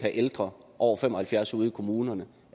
ældre over fem og halvfjerds år ud i kommunerne